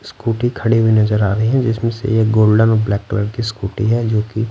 scooty खड़ी हुई नजर आ रही है जिसमें से ये गोल्डन और ब्लैक कलर की स्कूटी है जोकि--